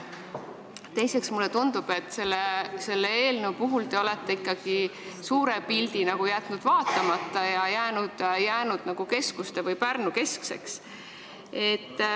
Teiseks, mulle tundub, et selle eelnõu puhul te olete ikkagi jätnud suure pildi vaatamata ja jäänud keskuste- või Pärnu-keskseks.